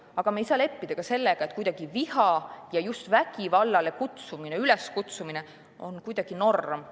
Aga me ei saa leppida sellega, et viha ja just vägivallale üleskutsumine on norm.